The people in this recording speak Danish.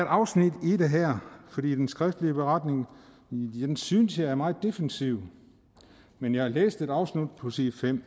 afsnit her den skriftlige beretning synes jeg er meget defensiv men jeg læste et afsnit på side